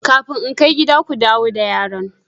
Kafin in kai gida, ku dawo da yaron!